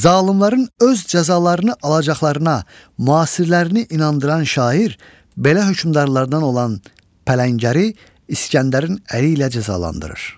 Zalımların öz cəzalarını alacaqlarına müasirlərini inandıran şair belə hökmdarlardan olan pələngəri İskəndərin əli ilə cəzalandırır.